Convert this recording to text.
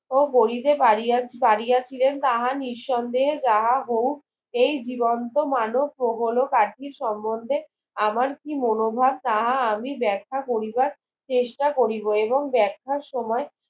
ও গড়িতে পারিয়া পারিয়াছিলেন তাহা নিসন্দেহে গ্রাহাহু এই জীবন্ত মানব প্রগল কাঠির সমন্ধে আমার কি মনোভাব তাহা আমি বেখ্যা করিবার চেষ্টা কৰিব এবং বেখ্যার সময়